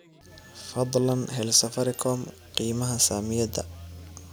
fadlan hel Safaricom qiimaha saamiyada